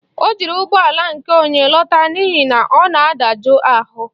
O jiri ụgbọala nke onye lọta n'ihi na ọ na-adajụ ahụ.